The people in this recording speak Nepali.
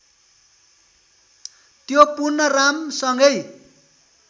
त्यो पुनः रामसँगै